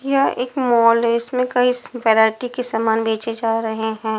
एक मॉल इसमें कई वैरायटी के सामान बेचे जा रहे हैं।